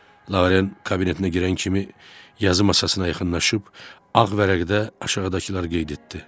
Lavaren kabinetinə girən kimi yazı masasına yaxınlaşıb ağ vərəqdə aşağıdakıları qeyd etdi.